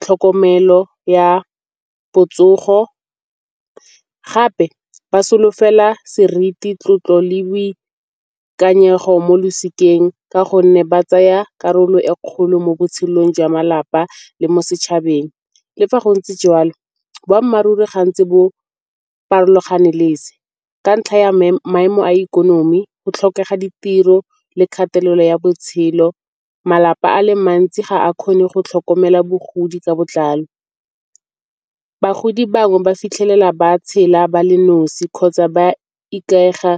tlhokomelo ya botsogo gape ba solofela seriti, tlotlo le boikanyego mo losikeng ka gonne ba tsaya karolo e kgolo mo botshelong jwa malapa le mo setšhabeng. Le fa go ntse jalo boammaruri ga ntse bo farologane le se, ka ntlha ya maemo a ikonomi go tlhokega ditiro le kgatelelo ya botshelo. Malapa a le mantsi ga a kgone go tlhokomela bogodi ka botlalo. Bagodi bangwe ba fitlhelela ba tshela ba le nosi kgotsa ba ikaega.